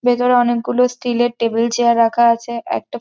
ভেতরে এ অনেকগুলো স্টিল এর টেবিল চেয়ার রাখা আছে। একটা--